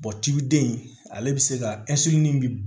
cibiden in ale bɛ se ka bi